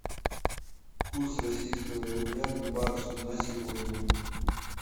курс российского рубля к баксу на сегодня